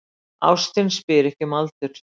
Ástin spyr ekki um aldur